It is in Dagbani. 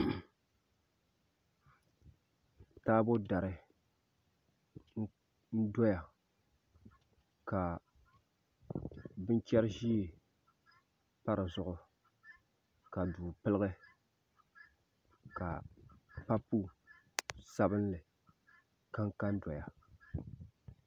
Taabo dari n doya ka binchɛri ʒiɛ pa dizuɣu ka duu piligi ka papu sabinli kanka n doya